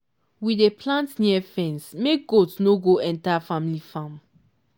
we dey plant near fence make goat no go enter family farm.